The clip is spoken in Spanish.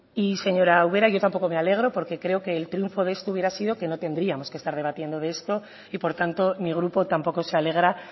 y señora ubera yo tampoco me alegro porque creo que el triunfo de esto hubiera sido que no tendríamos que estar debatiendo de esto y por tanto mi grupo tampoco se alegra